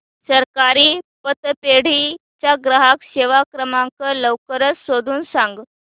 सहकारी पतपेढी चा ग्राहक सेवा क्रमांक लवकर शोधून सांग